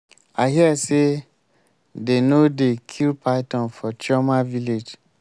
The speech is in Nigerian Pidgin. i hear say dey no dey kill python for chioma village